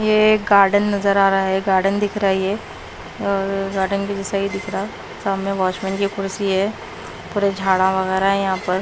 ये गार्डन नजर आ रहा है गार्डन दिख रहा है ये गार्डन के जैसा ही दिख रहा सामने वाचमन की कुर्सी है पूरे झाड़ा वगैरह है यहां पर--